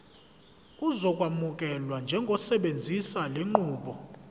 uzokwamukelwa njengosebenzisa lenqubo